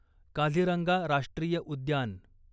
काझीरंगा राष्ट्रीय उद्यान